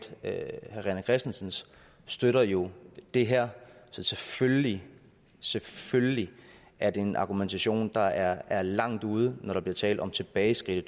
herre rené christensens støtter jo det her så selvfølgelig selvfølgelig er det en argumentation der er langt ude når der bliver talt om tilbageskridt i